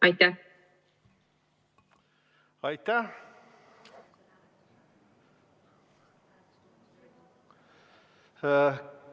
Aitäh!